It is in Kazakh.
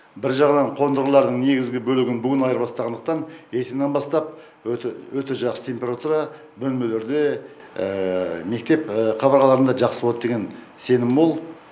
бір жағынан қондырғылардың негізгі бөлігін бүгін айырбастағандықтан ертеңнен бастап өте жақсы температура бөлмелерде мектеп қабырғаларында жақсы болады деген сенім мол